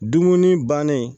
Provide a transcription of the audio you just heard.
Dumuni bannen